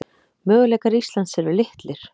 Möguleikar Íslands eru litlir